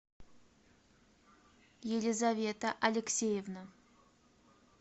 елизавета алексеевна